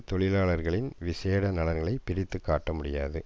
தொழிலாளர்களின் விஷேட நலன்களை பிரித்து காட்ட முடியாது